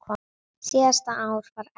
Síðasta ár var erfitt.